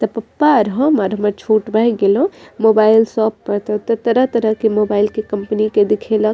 ते पप्पा और हम और हमर छोट भाई गेलो मोबाइल शॉप पर ते ओय ता तरह-तरह के मोबाइल के कंपनी के दिखे ल --